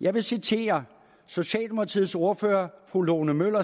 jeg vil citere socialdemokratiets tidligere ordfører fru lone møller